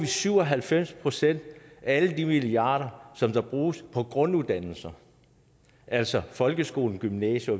syv og halvfems procent af alle de milliarder som bruges på grunduddannelser altså folkeskolen gymnasier